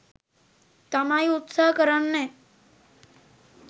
තමයි උත්සහ කරන්නේ.